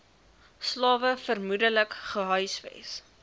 slawe vermoedelik gehuisves